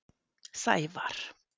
Sævar